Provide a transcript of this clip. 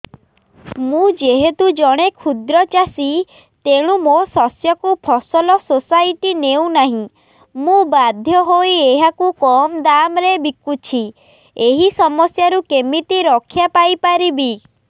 ମୁଁ ଯେହେତୁ ଜଣେ କ୍ଷୁଦ୍ର ଚାଷୀ ତେଣୁ ମୋ ଶସ୍ୟକୁ ଫସଲ ସୋସାଇଟି ନେଉ ନାହିଁ ମୁ ବାଧ୍ୟ ହୋଇ ଏହାକୁ କମ୍ ଦାମ୍ ରେ ବିକୁଛି ଏହି ସମସ୍ୟାରୁ କେମିତି ରକ୍ଷାପାଇ ପାରିବି